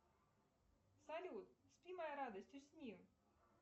салют спи моя радость усни